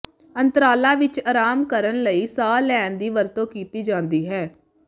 ਅੰਤਰਾਲਾਂ ਵਿੱਚ ਆਰਾਮ ਕਰਨ ਲਈ ਸਾਹ ਲੈਣ ਦੀ ਵਰਤੋਂ ਕੀਤੀ ਜਾਂਦੀ ਹੈ